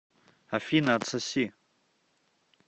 афина отсоси